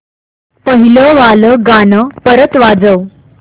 पहिलं वालं गाणं परत वाजव